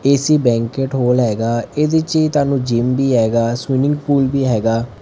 AC banquet hall ਹੈਗਾ ਇਹਦੇ ਚ ਤੁਹਾਨੂੰ ਜਿਮ ਵੀ ਹੈਗਾ ਸਵੀਮਿੰਗ ਪੂਲ ਵੀ ਹੈਗਾ।